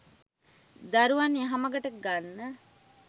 දරුවන් යහමගට ගන්න